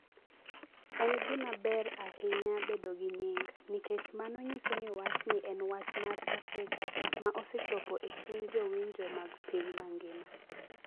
En gima ber ahinya bedo gi nying’ nikech mano nyiso ni wachni en wach mar Afrika ma osechopo e chuny jowinjo mag piny mangima.